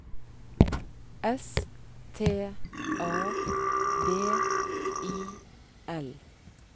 S T A B I L